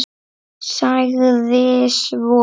Sagði svo